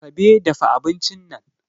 Asabe dafa abincin nan